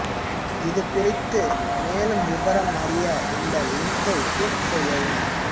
இது குறித்து மேலும் விபரம் அறிய இந்த லிங்க்கை க்ளிக் செய்யவும்